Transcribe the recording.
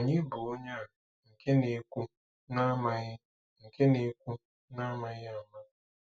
Ònye bụ onye a nke na-ekwu n'amaghị nke na-ekwu n'amaghị ama?